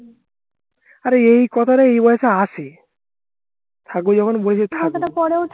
আরে এই কথাটা এই বয়সে আসে থাকবো যখন বলেছি থাকবো